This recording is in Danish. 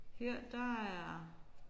Her der er